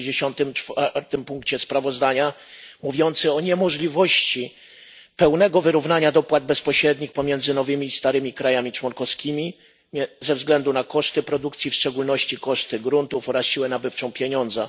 64. punkcie sprawozdania, który mówi o niemożliwości pełnego wyrównania dopłat bezpośrednich pomiędzy nowymi i starymi państwami członkowskimi ze względu na koszty produkcji, w szczególności koszty gruntów oraz siłę nabywczą pieniądza.